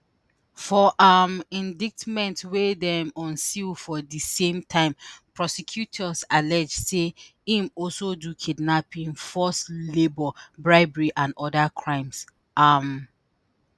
for um indictment wey dem unseal for di same time prosecutors allege say im also do kidnapping forced labour bribery and oda crimes. um